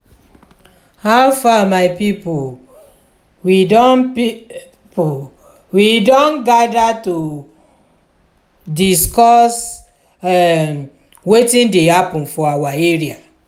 how far my people? we don pe ple? we don gather to discuss um wetin dey happen for our area.